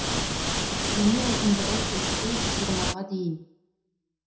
дене ұзындығы төрттен жиырмаға дейін